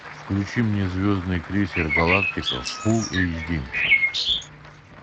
включи мне звездный крейсер галактика фул эйч ди